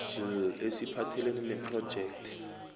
njll esiphathelene nephrojekhthi